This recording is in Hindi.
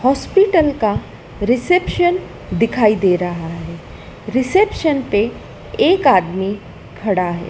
हॉस्पिटल का रिसेप्शन दिखाई दे रहा है रिसेप्शन पे एक आदमी खड़ा है।